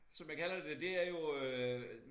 Som jeg kalder det det er jo øh